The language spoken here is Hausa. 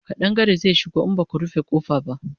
ƙadangare zai shigo in Baku rufe ƙofa ba